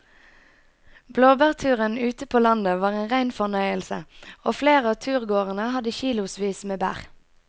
Blåbærturen ute på landet var en rein fornøyelse og flere av turgåerene hadde kilosvis med bær.